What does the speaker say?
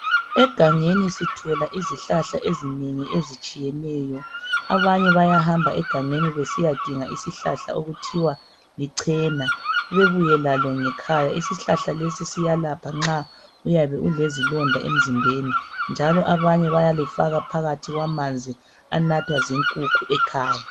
Egangeni sithola izihlahla ezinengi ezitshiyeneyo. Abanye bayahamba egangeni, besiyadinga isihlahla okuthiwa liChena. Bebuye lalo ngekhaya. Isihlahla lesi siyelapha nxa uyabe ulezilonda emzimbeni, njalo abanye bayalifaka phakathi kwamanzi anathwa zinkukhu ekhaya.